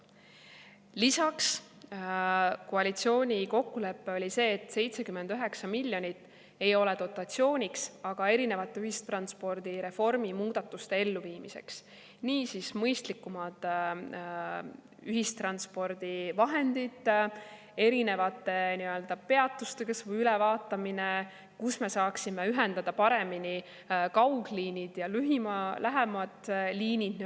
Lisaks, koalitsiooni kokkulepe oli see, et 79 miljonit ei ole dotatsiooniks, vaid erinevate ühistranspordireformi muudatuste elluviimiseks, niisiis: mõistlikumad ühistranspordivahendid, erinevate peatuste ülevaatamine, kus me saaksime ühendada paremini kaugliinid ja nii-öelda lähemad liinid.